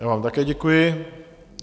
Já vám také děkuji.